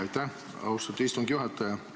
Aitäh, austatud istungi juhataja!